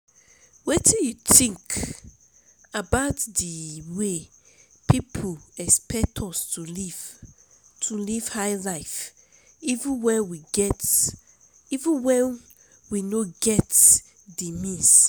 wetin you think about di way people expect us to live to live high life even when we no get di means?